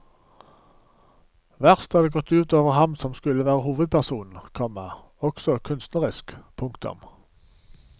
Verst er det gått ut over ham som skulle være hovedpersonen, komma også kunstnerisk. punktum